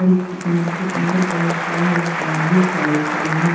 और इस दुकान के अंदर बहोत सारे इंसान भी खर खरे हैं।